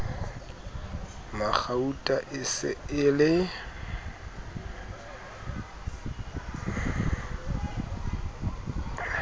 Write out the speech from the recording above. magauta e se e le